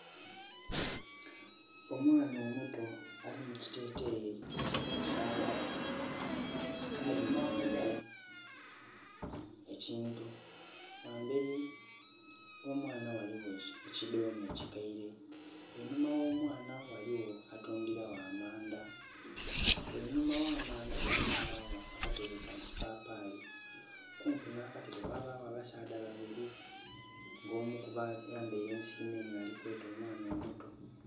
Omwaana omuto ali mukiteteyi ekya kasayi, alingilire ekintu. Ghamberi gho mwaana ghaligho ekidhome ekikeire einhuma gho mwaana ghaligho atundhira gho amanda, einhuma gha manda gano ghabagho akatebe ka kipapali. Okumpi na katebe ghaligho abasaadha babiri nga omu kubo ayambeire ensiriminhi alikweta omwaana omuto.